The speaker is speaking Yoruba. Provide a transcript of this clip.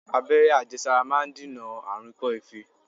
Abẹ́rẹ́ àjẹsára máà ń dènà àrùn ikọ́-ife.